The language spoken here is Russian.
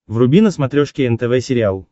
вруби на смотрешке нтв сериал